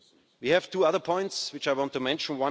We have two other points which I want to mention.